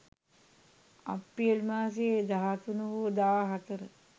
අප්‍රේල් මාසයේ 13 හෝ 14